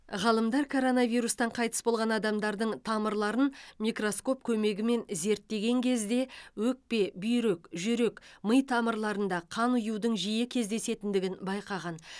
ғалымдар коронавирустан қайтыс болған адамдардың тамырларын микроскоп көмегімен зерттеген кезде өкпе бүйрек жүрек ми тамырларында қан ұюдың жиі кездесетіндігін байқаған